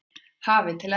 hafi til enda.